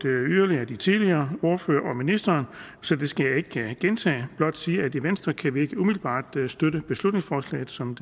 af de tidligere ordførere og ministeren så det skal jeg ikke gentage blot sige at i venstre kan vi ikke umiddelbart støtte beslutningsforslaget som